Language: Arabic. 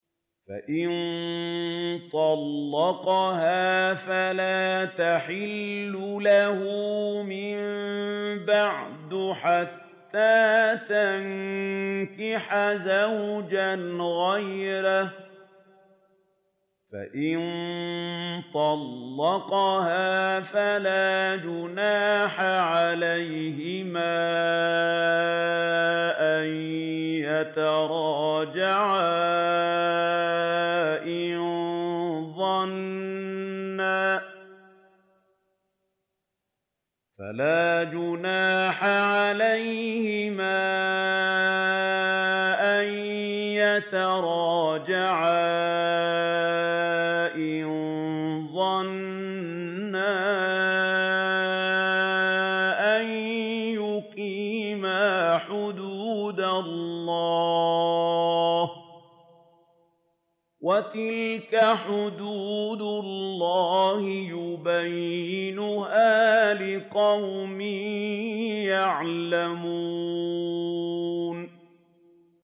فَإِن طَلَّقَهَا فَلَا تَحِلُّ لَهُ مِن بَعْدُ حَتَّىٰ تَنكِحَ زَوْجًا غَيْرَهُ ۗ فَإِن طَلَّقَهَا فَلَا جُنَاحَ عَلَيْهِمَا أَن يَتَرَاجَعَا إِن ظَنَّا أَن يُقِيمَا حُدُودَ اللَّهِ ۗ وَتِلْكَ حُدُودُ اللَّهِ يُبَيِّنُهَا لِقَوْمٍ يَعْلَمُونَ